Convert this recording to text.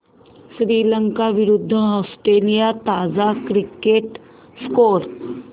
श्रीलंका विरूद्ध ऑस्ट्रेलिया ताजा cricket score